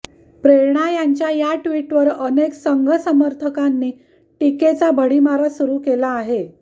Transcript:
प्रेरणा यांच्या या ट्विटवर अनेक संघ समर्थकांनी टीकेचा भडीमार सुरू केला आहे